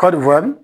Kɔɔri